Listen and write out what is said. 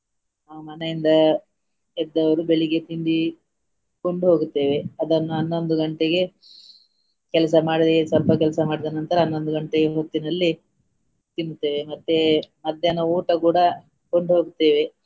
ಆ ಮನೆಯಿಂದ ಎದ್ದವರು ಬೆಳಿಗ್ಗೆ ತಿಂಡಿ ಕೊಂಡು ಹೋಗುತ್ತೇವೆ ಅದನ್ನು ಹನ್ನೊಂದು ಗಂಟೆಗೆ ಕೆಲಸ ಮಾಡಿ ಸ್ವಲ್ಪ ಕೆಲಸ ಮಾಡಿದ ನಂತರ ಹನ್ನೊಂದು ಗಂಟೆಗೆ ಹೊತ್ತಿನಲ್ಲಿ ತಿನ್ತೇವೆ ಮತ್ತೇ ಮಧ್ಯಾಹ್ನ ಊಟ ಕೂಡಾ ಕೊಂಡು ಹೋಗ್ತೆವೆ.